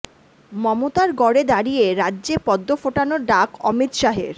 মমতার গড়ে দাঁড়িয়ে রাজ্যে পদ্ম ফোটানোর ডাক অমিত শাহের